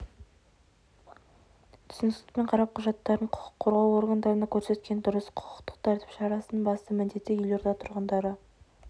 түсіністікпен қарап құжаттарын құқық қорғау органдарына көрсеткені дұрыс құқықтық тәртіп шарасының басты міндеті елорда тұрғындары